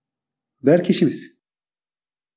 бәрі кеш емес